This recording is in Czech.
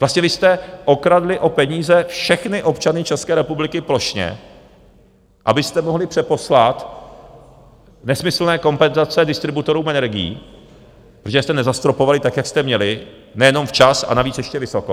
Vlastně vy jste okradli o peníze všechny občany České republiky plošně, abyste mohli přeposlat nesmyslné kompenzace distributorům energií, protože jste nezastropovali tak, jak jste měli, nejenom včas, a navíc ještě vysoko.